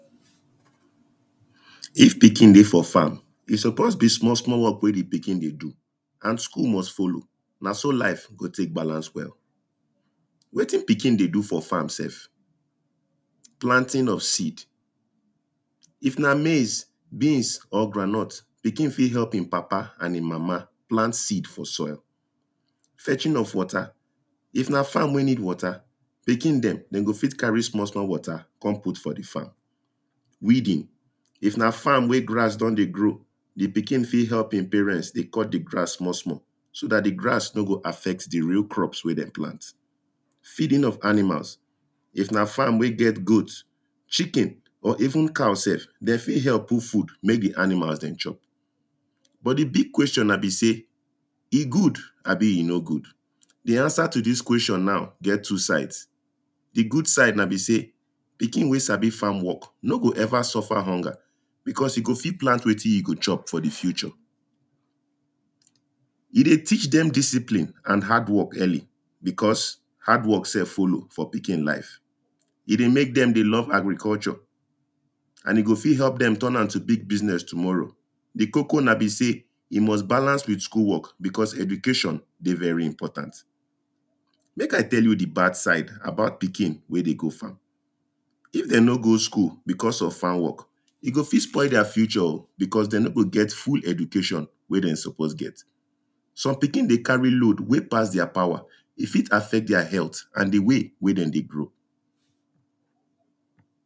If pikin dey for farm e suppose be small small work wen di pikin dey do, and school must follow na so life go take balance well wetin pikin dey do for farm sef? planting of seed if na maize, beans or groundnut, pikin fit help im papa and im mama plant seeds for soil. Fetching of water; if na farm wen need water, pikin dem dem go fit carry small small water, come put for di farm. Weeding; if na farm wen grass don dey grow, di pikin fit help im parents dey cut di grass small small. So dat di grass no go affect di real crops wen dem plant. Feeding of animals; if na farm wen get goat, chicken or even cow sef, dem fit help put food make di animals dem chop. But di big question now be sey, e good abi e no good? Di answer to dis question now get two sides, di good side na be sey pikin wen sabi farm work, no go ever suffer hunger, because e go fit plant wetin im go chop for di future, e dey teach dem discipline and hard work early because, hardwork sef follow for pikin life, e dey make dem dey love agriculture and e go fit help dem to turn am to big business tomorrow, di koko na be sey e must balance with school work because education dey very imporatant make I tell you di bad side about pikin wen dey go farm. If dem no go school because of farm work e go fit spoil their future oh, because dem no go get full education wen dem suppose get. some pikin dey carry load wen pass their power e fit affect their health and di way wen dem dey grow.